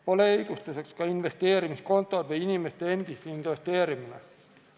Pole õigustuseks ka investeerimiskontod või inimeste endi investeerimine.